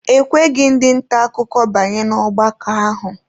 E kweghị ndị nta akụkọ banye n'ọgbakọ ahụ.